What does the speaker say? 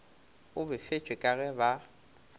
o befetšwe ka ge ba